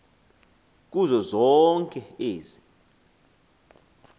kuzo zonke ezi